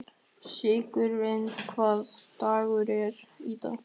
Sigurnýjas, hvaða dagur er í dag?